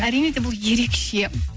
әрине де бұл ерекше